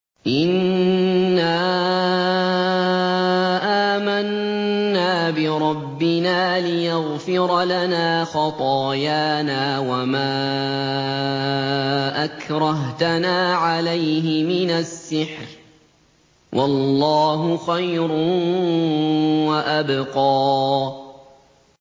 إِنَّا آمَنَّا بِرَبِّنَا لِيَغْفِرَ لَنَا خَطَايَانَا وَمَا أَكْرَهْتَنَا عَلَيْهِ مِنَ السِّحْرِ ۗ وَاللَّهُ خَيْرٌ وَأَبْقَىٰ